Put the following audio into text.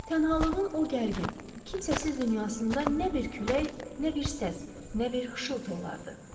Tənhalığın o gərgin, kimsəsiz dünyasında nə bir külək, nə bir səs, nə bir xışıltı olardı.